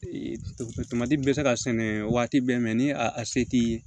bɛ se ka sɛnɛ waati bɛɛ mɛn ni a se t'i